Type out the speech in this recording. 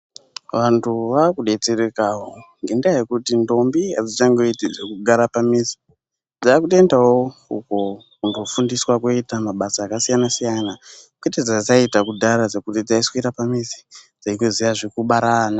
Vantu vaakudetserekawo ngendaa yekuti ndombi hadzichangoiti zvekugara pamizi. Dzaakutoendawo uko kundofundiswa kooita mabasa yakasiyana-siyana, kwete zvadzaiita kudara zvekuti dzaiswera pamizi dzeindoziya zvekubara ana.